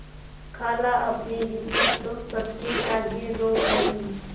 खालाअपनी विपद तो सबके आगे रो आयी